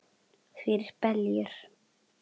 Fyrir beljur?